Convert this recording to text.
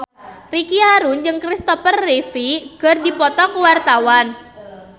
Ricky Harun jeung Kristopher Reeve keur dipoto ku wartawan